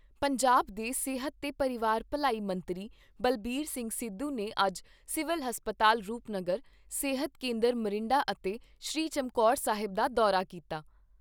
ਪੰਜਾਬ ਦੇ ਸਿਹਤ ਤੇ ਪਰਿਵਾਰ ਭਲਾਈ ਮੰਤਰੀ ਬਲਬੀਰ ਸਿੰਘ ਸਿੱਧੂ ਨੇ ਅੱਜ ਸਿਵਲ ਹਸਪਤਾਲ ਰੂਪਨਗਰ, ਸਿਹਤ ਕੇਂਦਰ ਮੋਰਿੰਡਾ ਅਤੇ ਸ੍ਰੀ ਚਮਕੌਰ ਸਾਹਿਬ ਦਾ ਦੌਰਾ ਕੀਤਾ।